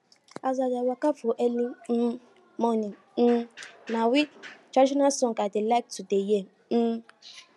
as i dey waka for early um morning um na we traditional sound i dey like to dey hear um